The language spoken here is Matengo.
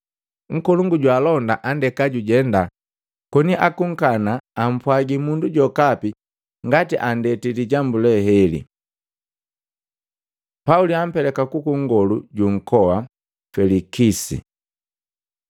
Nkolongu jwaalonda andeka jujenda koni akunkana ampwagi mundu jokapi ngati andeti lijambu leheli. Pauli ampeleka kuku nkolongu ju nkoa Felikisi